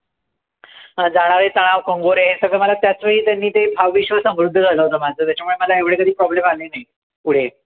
जाणारे तणाव, कंगोरे, हे सगळं मला त्याचवेळी त्यांनी ते भावविश्व समृध्द झालं होतं माझं. त्याच्यामुळे मला एवढे कधी problem आले नाही. पुढे.